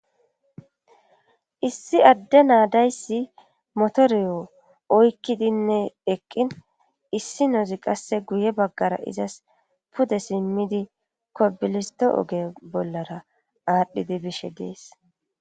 issi adde naadayssi motoriyo oykkidinne eqqin issi nozi qasse guye baggara izas pude simmidi kobilisto oge bollara aadhdhidi bishe dees